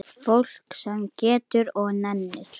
Fólk sem getur og nennir.